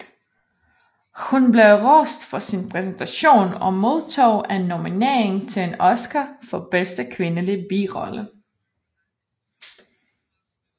Hun blev rost for sin præstation og modtog en nominering til en Oscar for bedste kvindelige birolle